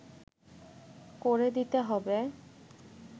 করে দিতে হবে